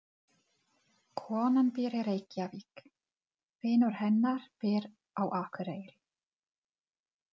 Konan býr í Reykjavík. Vinur hennar býr á Akureyri.